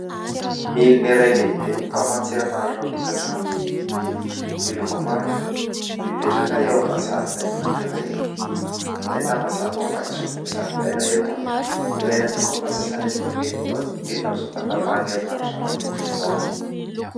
Milina iray lehibe mpamatsy erinaratra ao an-tokantrano, miloko manga, mipetraka eo amina zaridaina anankiray, ahitana zava-maitso ny zaridaina eto. Ilaina tokoa ny fampiasana itony milina itony indrindra amin'izao fahatapahan'ny erinaratra matetika izao.